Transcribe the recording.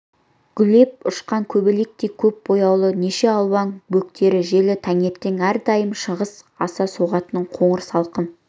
гулеп ұшқан көбелектей көп бояулы неше алуан бөктер желі таңертең әрдайым шыңғыс аса соғатын қоңыр салқын